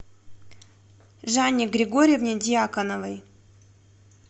жанне григорьевне дьяконовой